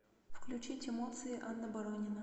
включить эмоции анна боронина